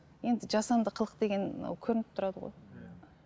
енді жасанды қылық деген ол көрініп тұрады ғой иә